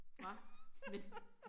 Hva men